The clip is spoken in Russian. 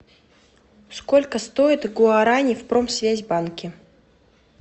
сколько стоит гуарани в промсвязьбанке